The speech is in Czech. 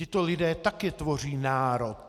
Tito lidé taky tvoří národ.